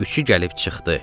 Üçü gəlib çıxdı.